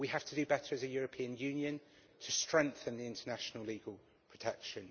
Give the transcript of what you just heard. We have to do better as a European Union to strengthen the international legal protection.